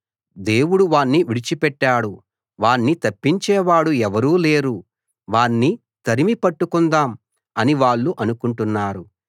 దేవుడు వాణ్ణి విడిచిపెట్టాడు వాణ్ణి తప్పించేవాడు ఎవరూ లేరు వాణ్ణి తరిమి పట్టుకుందాం అని వాళ్ళు అనుకుంటున్నారు